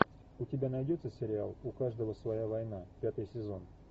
у тебя найдется сериал у каждого своя война пятый сезон